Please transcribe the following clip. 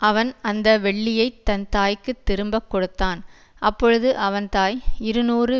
அவன் அந்த வெள்ளியைத் தன் தாய்க்குத் திரும்பக் கொடுத்தான் அப்பொழுது அவன் தாய் இருநூறு